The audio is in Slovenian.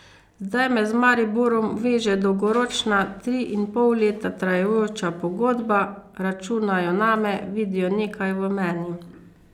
Zdaj me z Mariborom veže dolgoročna, tri in pol leta trajajoča pogodba, računajo name, vidijo nekaj v meni.